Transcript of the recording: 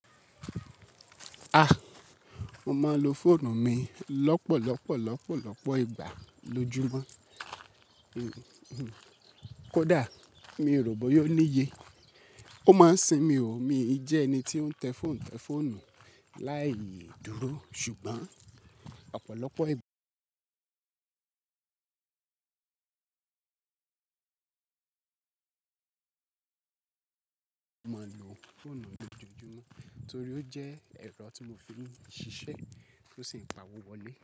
A! Mo máa lo fóònù mi lọ́pọ̀lọpọ̀ lọ́pọ̀lọpọ̀ ìgbà lójúmọ́. Kò dá, mi ò rò bóya ò níye. Ó máa ń sinmi o. Mi i jẹ́ ẹni tí ó ń tẹ fóònù tẹ fóònù láìdúró ṣùgbọ́n ọ̀pọ̀lọpọ̀ ìgbà mo máa ń lo fóònù lójoojúmọ́ torí ó jẹ́ ẹ̀rọ tí mo fi ń ṣiṣẹ́ tó sì ń pàwó wọlé.